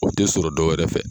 O tɛ sɔrɔ dɔwɛrɛ fɛ.